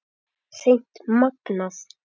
Hreint magnað!